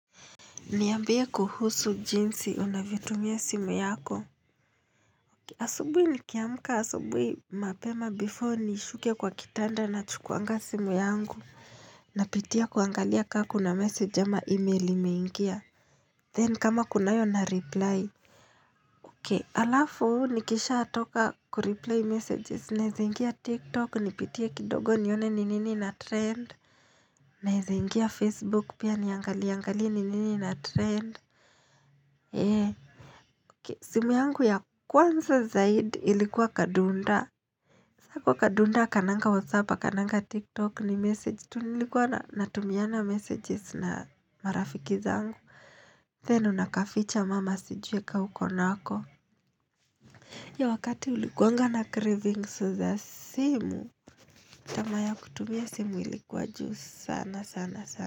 Niambie kuhusu jinsi unavyotumia simu yako. Asubui nikiamka asubui mapema before nishuke kwa kitanda na chukuanga simu yangu. Napitia kuangalia ka kuna message ama email imeingia. Then kama kunayo na reply. Okay alafu nikishatoka kureply messages naezaingia tiktok nipitie kidogo nione ni nini ina trend. Naezaingia facebook pia niangalie angalie ni nini ina trend. Eee. Simu yangu ya kwanza zaidi ilikuwa kadunda. Kwa kadunda, hakananga WhatsApp, hakananga TikTok ni message. Tu nilikuwa natumiana messages na marafiki zangu. Then unakaficha mama asijue ka uko nako. Hiyo wakati ulikuanga na cravings za simu. Tamaa ya kutumia simu ilikuwa juu sana sana sana.